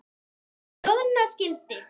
um troða skyldi